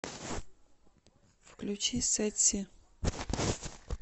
включи сэтси